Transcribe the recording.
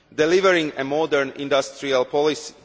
delivering a modern industrial policy